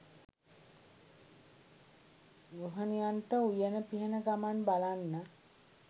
ගෘහණියන්ට උයන පිහන ගමන් බලන්න.